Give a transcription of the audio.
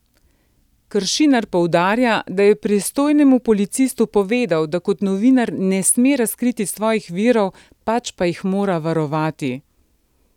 Kršinar poudarja, da je pristojnemu policistu povedal, da kot novinar ne sme razkriti svojih virov, pač pa jih mora varovati.